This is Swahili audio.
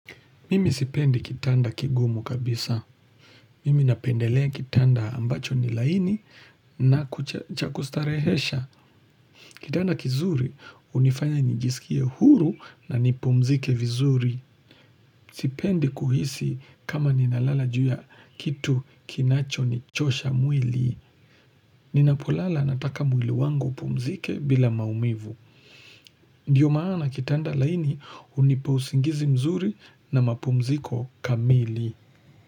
Mimi sipendi kitanda kigumu kabisa. Mimi napendelea kitanda ambacho ni laini na kuchakustarehesha. Kitanda kizuri unifanya njisikie huru na nipumzike vizuri. Sipendi kuhisi kama ninalala juya kitu kinacho nichosha mwili. Ninapolala nataka mwili wango pomzike bila maumivu. Ndiyo maana kitanda laini uniposingizi mzuri na mapomziko kamili.